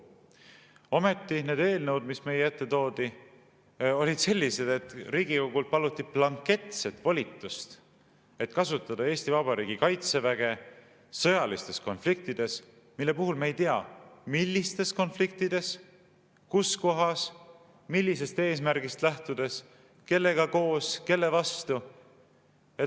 Ometi need eelnõud, mis meie ette toodi, olid sellised, et Riigikogult paluti blanketset volitust, et kasutada Eesti Vabariigi kaitseväge sõjalistes konfliktides, mille puhul me ei tea, millistes konfliktides, kus kohas, millisest eesmärgist lähtudes, kellega koos, kelle vastu.